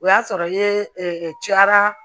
O y'a sɔrɔ ye cayara